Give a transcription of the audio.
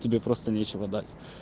тебе просто нечего дать